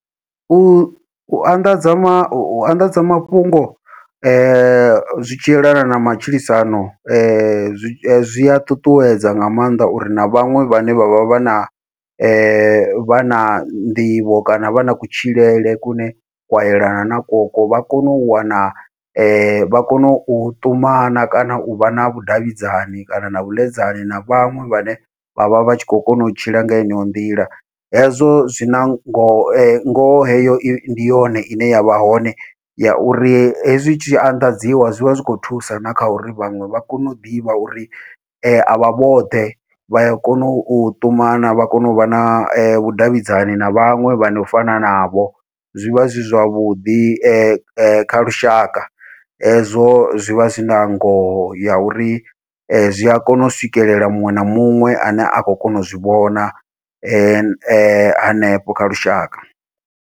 U u anḓadza ma u anḓadza mafhungo, zwi tshi yelana na matshilisano zwi zwi a ṱuṱuwedza nga maanḓa uri na vhaṅwe vhane vha vha vha na vha na nḓivho kana vha na kutshilele kune kwa yelana na koko vha kono u wana, vha kone u ṱumana kana uvha na vhudavhidzani kana na vhuḽedzani na vhaṅwe vhane vha vha vha tshi khou kona u tshila nga heneyo nḓila. Hezwo zwina ngoho ngoho heyo ndi yone ine yavha hone, ya uri hezwi tshi anḓadziwa zwivha zwikho thusa na kha uri vhaṅwe vha kone u ḓivha uri avha vhoṱhe, vha ya kona u ṱumana vha kone uvha na vhudavhidzani na vhaṅwe vhano fana navho, zwivha zwi zwavhuḓi kha lushaka hezwo zwivha zwina ngoho ya uri zwi a kona u swikelela muṅwe na muṅwe ane a khou kona u zwi vhona hanefho kha lushaka.